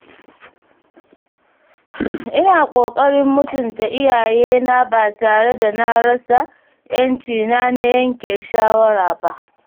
Ina ƙoƙarin mutunta iyayena ba tare da na rasa ‘yancina na yanke shawara ba.